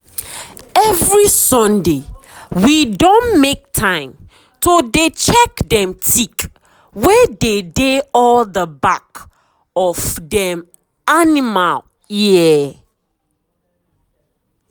every sundaywe don make time to dey check dem tick wey dey dey at the back of dem animal ear.